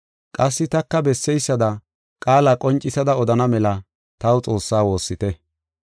Qassi taka besseysada qaala qoncisada odana mela taw Xoossaa woossite.